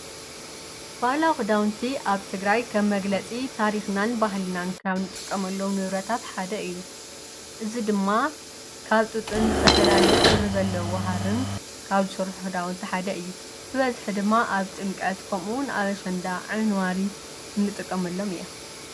ባህላ ዂዳውንቲ ኣብ ትግራይ ከብ መግለጺ ታሪኽናን ባህልናን ካብ ንጥቀመሎዉ ነብረታት ሓደ እዩ። እዝ ድማ ካብ ጡጥን ዝተፈላለ ኅብሪ ዘለዉ ዋሃርን ካብ ሠርሕ ሕዳውንቲ ሓደ እዩ ።ብበዝኅ ድማ ኣብ ጥምቀት ከምውን ኣበሸንዳ ዓይንዋሪ እምጥቀመሎም እየ።